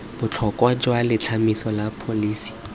botlhokwa jwa letlhomeso la pholisi